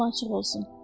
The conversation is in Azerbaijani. Yolun açıq olsun.